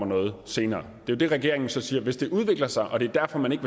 noget senere det det regeringen så siger hvis det udvikler sig og det er derfor man ikke